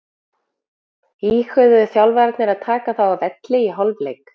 Íhuguðu þjálfararnir að taka þá af velli í hálfleik?